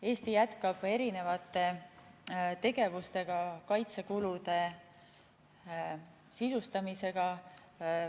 Eesti jätkab erinevate tegevustega kaitsekulude sisustamist.